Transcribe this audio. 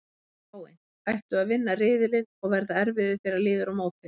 Spáin: Ættu að vinna riðilinn og verða erfiðir þegar líður á mótið.